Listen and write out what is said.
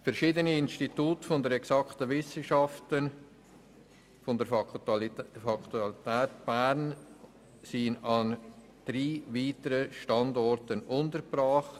Verschiedene Institute der Exakten Wissenschaften der Philosophisch-naturwissenschaftlichen Fakultät der Universität Bern sind an drei weiteren Standorten untergebracht.